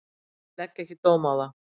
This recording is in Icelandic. Ég legg ekki dóm á það.